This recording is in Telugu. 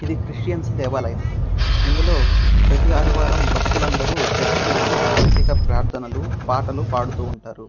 ఇది క్రిస్టియన్స్ దేవాలయం. ఇందులో ప్రతి ఆదివారం భక్తులు అందరూ వెళ్లి పాటలు ప్రదానాలు పాటలు పాడుతుంటారు.